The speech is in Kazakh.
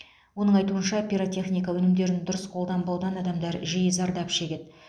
оның айтуынша пиротехника өнімдерін дұрыс қолданбаудан адамдар жиі зардап шегеді